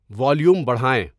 volume بڑھائیں